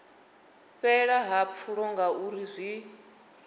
fhela ha pfulo ngauri zwi